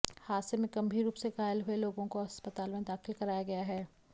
हादसे में गंभीर रूप से घायल हुए लोगों को अस्पताल में दाखिल कराया गया है